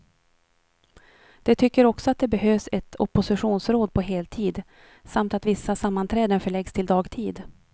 De tycker också att det behövs ett oppositionsråd på heltid, samt att vissa sammanträden förläggs till dagtid.